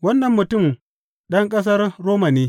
Wannan mutum ɗan ƙasar Roma ne.